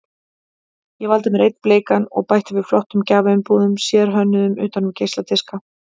Ég valdi mér einn bleikan og bætti við flottum gjafaumbúðum, sérhönnuðum utan um geisladiska.